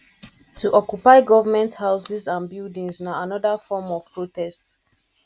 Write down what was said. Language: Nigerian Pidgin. to occupy government houses and buildings na another form of protest